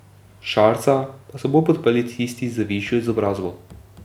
Šarca pa so bolj podprli tisti z višjo izobrazbo.